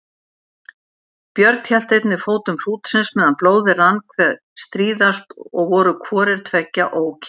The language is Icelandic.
Björn hélt einnig fótum hrútsins meðan blóðið rann hve stríðast og voru hvorir tveggja ókyrrir.